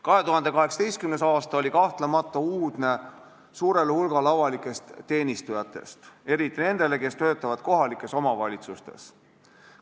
2018. aasta oli kahtlemata uudne suurele hulgale avalikest teenistujatest, eriti nendele, kes töötavad kohalikes omavalitsustes.